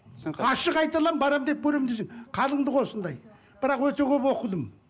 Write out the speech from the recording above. түсінікті ашық айта аламын барамын деп көрем десең қалыңдығы осындай бірақ өте көп оқыдым